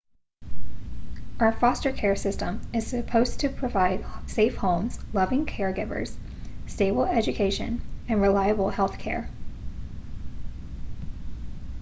our foster care system is supposed to provide safe homes loving caregivers stable education and reliable health care